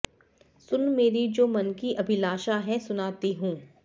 सुन मेरी जो मन की अभिलाषा है सुनाती हूं